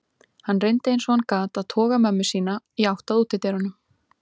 Hann reyndi eins og hann gat að toga mömmu sína í átt á útidyrunum.